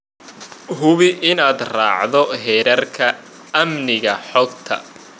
Hubi inaad raacdo xeerarka amniga xogta.